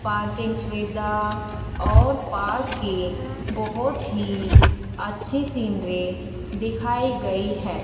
Parking सुविधा और park की बहुत ही अच्छी सीनरी दिखाई गई है।